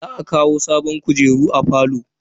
Za a kawo sabon kujeru a falon.